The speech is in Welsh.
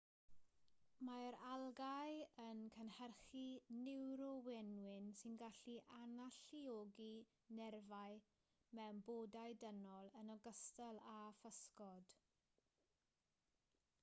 mae'r algâu yn cynhyrchu niwrowenwyn sy'n gallu analluogi nerfau mewn bodau dynol yn ogystal â physgod